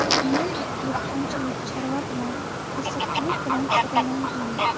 Men dehqonchilik, chorva bilan, qassobchilik bilan shug‘ullanganman.